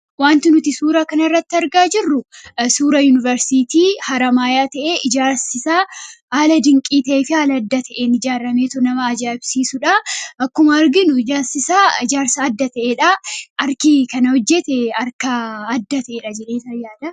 Waanti nuti suura kana irratti argaa jirru, suura yuunibarsiitii Haramayyaadha. Ijaarsi isaas haala dinqii fi adda ta'een ijaarameetu nama ajaa'ibsuusidha. Akkuma arginus ijaarsi isaa ijaarsa adda ta'edha; harki kana hojjetes harka adda ta'edha.